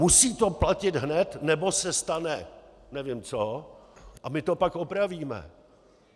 Musí to platit hned, nebo se stane nevím co, a my to pak opravíme.